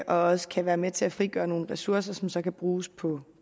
også kan være med til at frigøre nogle ressourcer som så kan bruges på